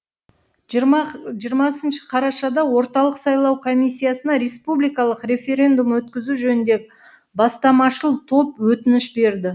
жиырмасыншы қарашада орталық сайлау комиссиясына республикалық референдум өткізу жөніндегі бастамашыл топ өтініш берді